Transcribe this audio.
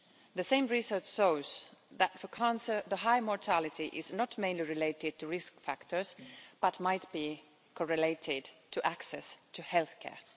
The same research shows that for cancer the high mortality is not mainly related to risk factors but might be correlated to access to healthcare.